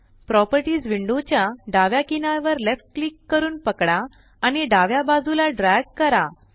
properties window च्या डाव्या किनारवर लेफ्ट क्लिक करून पकडा आणि डाव्या बाजूला ड्रॅग करा